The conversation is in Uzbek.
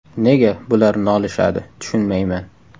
Nega bular nolishadi, tushunmayman.